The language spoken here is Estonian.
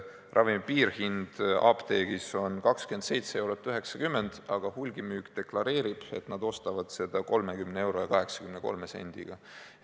Ravimi piirhind apteegis on 27 eurot ja 90 senti, aga hulgimüük deklareerib, et nad ostavad seda 30 euro ja 83 sendiga.